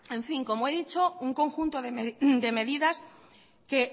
como he dicho un conjunto de medidas que